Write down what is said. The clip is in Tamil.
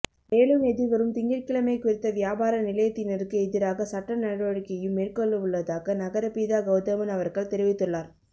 மேலும் எதிர்வரும் திங்கட்கிழமை குறித்த வியாபார நிலையத்தினருக்கு எதிராக சட்ட நடவடிக்கையும் மேற்கொள்ளவுள்ளதாக நகரபிதா கெளதமன் அவர்கள் தெரிவித்துள்ளார்